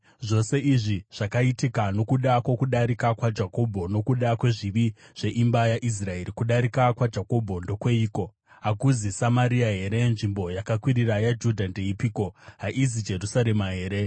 Zvose izvi zvakaitika nokuda kwokudarika kwaJakobho, nokuda kwezvivi zveimba yaIsraeri. Kudarika kwaJakobho ndokweiko? Hakuzi Samaria here? Nzvimbo yakakwirira yaJudha ndeipiko? Haizi Jerusarema here?